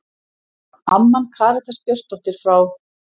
Amman Karitas Björnsdóttir frá